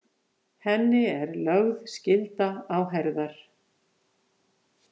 Henni er lögð skylda á herðar.